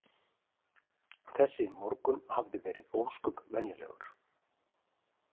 Þessi morgunn hafði verið ósköp venjulegur.